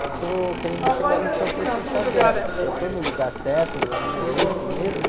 eu estou querendo chegar em São Francisco Xavier, eu estou no lugar certo, o caminho é esse mesmo?